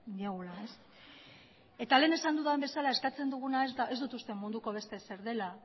diegu lehen esan dudan bezala eskatzen duguna ez dut uste munduko beste ezer dela